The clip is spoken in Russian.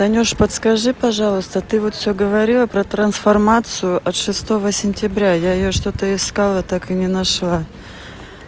танюш подскажи пожалуйста ты вот всё говорила про трансформацию от шестого сентября я её что-то искала так и не нашла